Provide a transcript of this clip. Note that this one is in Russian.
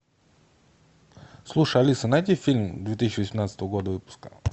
слушай алиса найди фильм две тысячи восемнадцатого года выпуска